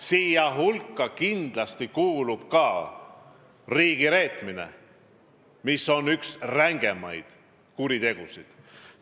Selle hulka kindlasti kuulub ka riigi reetmine, mis on üks rängemaid kuritegusid.